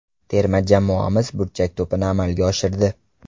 Terma jamoamiz burchak to‘pini amalga oshirdi.